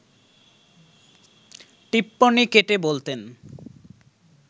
টিপ্পনী কেটে বলতেন